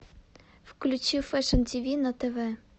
включи фэшн ти ви на тв